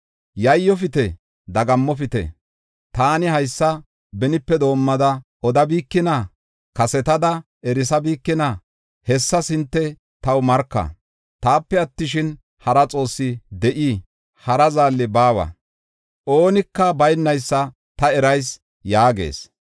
Yayyofite; dagammopite; taani haysa benipe doomada odabikina? Kasetada erisabikina? Hessas hinte taw marka. Taape attishin, hara Xoossi de7ii? Hara Zaalli baawa; oonika baynaysa ta erayis” yaagees.